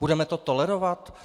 Budeme to tolerovat?